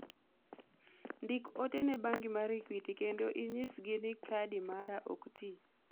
ndik ote ne bengi mar equity kendo inyisgi ni kadi mara ok tii